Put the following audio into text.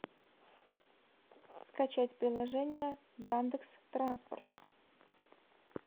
скачать приложение яндекс транспорт